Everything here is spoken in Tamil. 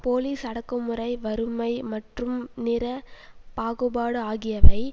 போலீஸ் அடக்குமுறை வறுமை மற்றும் நிற பாகுபாடு ஆகியவை